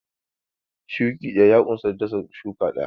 Shuki ɗaya ya unsa dasa shuka guda.